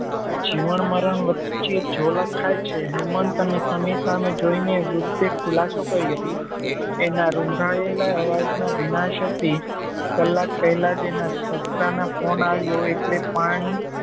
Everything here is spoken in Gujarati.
જીવન મરણ વચ્ચે જોલા ખાય છે. હેમંત અને સમીર સામે જોઈને વૃદ્ધે ખુલાશો કર્યો એના રૂંધાયેલા અવાજનો ભીનાશ હતી કલાક પેહલા જ એના સસરાનો ફોન આવ્યો એટલે પાણી